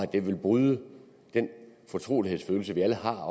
det ikke bryde den fortrolighedsfølelse vi alle har